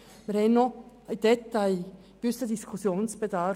Wie Sie sehen, besteht in gewissen Details noch ein gewisser Diskussionsbedarf.